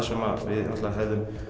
sem við hefðum